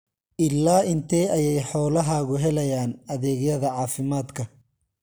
Ilaa intee ayay xoolahaagu helayaan adeegyada caafimaadka?